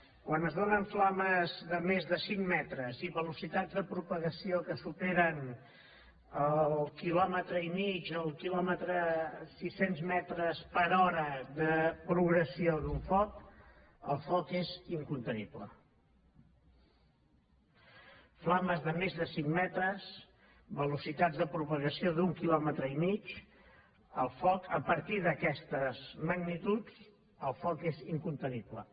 quan es donen flames de més de cinc metres i velocitats de propagació que superen el quilòmetre i mig el quilòmetre sis cents metres per hora de progressió d’un foc el foc és incontenible flames de més de cinc metres velocitats de propagació d’un quilòmetre i mig a partir d’aquestes magnituds el foc és incontenible